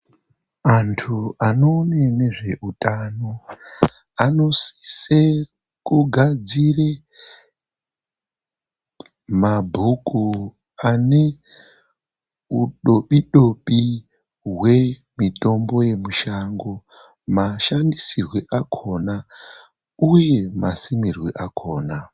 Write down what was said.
Andu anoona nezvehutano anosise kugadzira mabhuku ane udobidobi hwemutombo wemushango mashandisirwo akona uye masimirwe adzona.